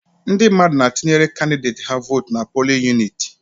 Ndị mmadụ na-atụnyere kandideti ha votu n'pulin uniti